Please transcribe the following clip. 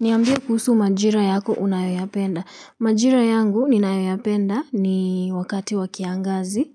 Niambie kuhusu majira yako unayoyapenda. Majira yangu unayoyapenda ni wakati wa kiangazi.